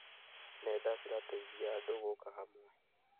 Nenda cirateithia andũ gũũka hamwe.